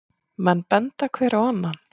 Menn benda hver á annan.